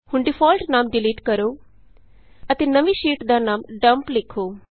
ਹੁਣ ਡਿਫਾਲਟ ਨਾਮ ਡਿਲੀਟ ਕਰੋ ਅਤੇ ਨਵੀਂ ਸ਼ੀਟ ਦਾ ਨਾਮ ਡੱਮਪ ਲਿਖੋ